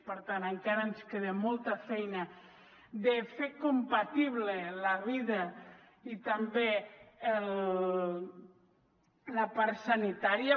per tant encara ens queda molta feina de fer compatible la vida i també la part sanitària